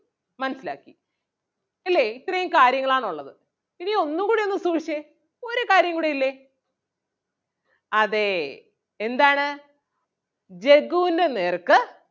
മനസ്സിലാക്കി ഇല്ലേ ഇത്രേം കാര്യങ്ങളാണൊള്ളത്. ഇനി ഒന്നും കൂടെ ഒന്ന് സൂക്ഷിച്ചേ ഒരു കാര്യം കൂടെ ഇല്ലേ അതേ എന്താണ് ജഗ്ഗുൻ്റെ നേർക്ക്